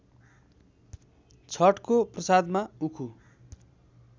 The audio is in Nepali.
छठको प्रसादमा उखु